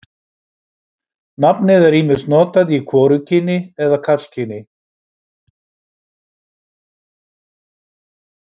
nafnið er ýmist notað í hvorugkyni eða karlkyni